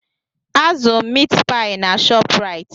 A zụeu m miit paị na Shopraịt.